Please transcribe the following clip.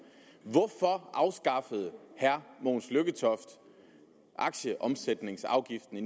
hvorfor afskaffede herre mogens lykketoft aktieomsætningsafgiften i